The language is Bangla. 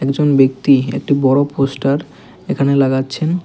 একজন ব্যক্তি একটি বড় পোস্টার এখানে লাগাচ্ছেন।